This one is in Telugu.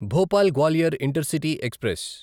Bhopal Gwalior intercity express